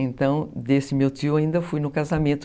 Então, desse meu tio, ainda fui no casamento.